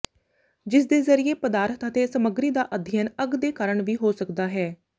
ਜਿਸ ਦੇ ਜ਼ਰੀਏ ਪਦਾਰਥ ਅਤੇ ਸਮੱਗਰੀ ਦਾ ਅਧਿਐਨ ਅੱਗ ਦੇ ਕਾਰਨ ਵੀ ਹੋ ਸਕਦਾ ਹੈ